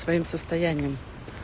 своим состоянием